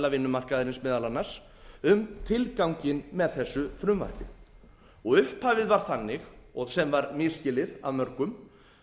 vinnumarkaðarins meðal annars um tilganginn með þessu frumvarpi og upphafið var þannig og sem var misskilið af mörgum